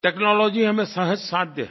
technology हमें सहज़ साध्य है